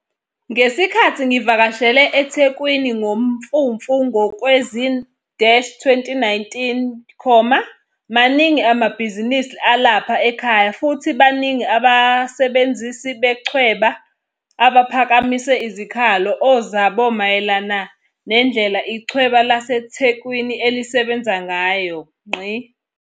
Ngesikhathi ngivakashele eThekwini ngoMfumfu kowe zi-2019, maningi amabhizinisi alapha ekhaya futhi baningi abasebenzisi bechweba abaphakamise izikhala o zabo mayelana nendlela ichweba laseThekwini elisebenza ngayo.